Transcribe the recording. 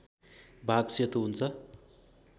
भाग सेतो हुन्छ